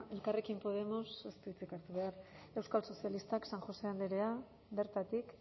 elkarrekin podemos ez du hitzik hartu behar euskal sozialistak san josé andrea bertatik